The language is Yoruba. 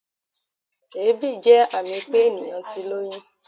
Èébì jẹ́ àmì pé ènìyàn ti lóyún.